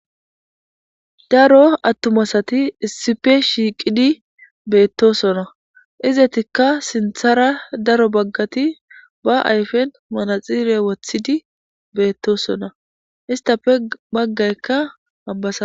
Daro attuma asati issipe shiiqidi beetosona; izetikka sinthara daro baggati ba ayfen manaxire wothidi beettosona; istape baggaykka...